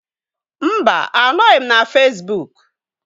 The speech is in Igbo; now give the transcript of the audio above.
Mba, anọghị m na Fesbuk